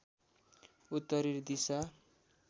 उत्तरी दिशा